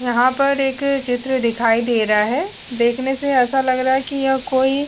यहां पर एक चित्र दिखाई दे रहा है देखने से ऐसा लग रहा है कि यह कोई --